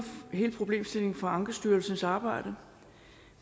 hele problemstillingen fra ankestyrelsens arbejde